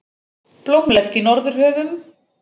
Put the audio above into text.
Blómlegt í Norðurhöfum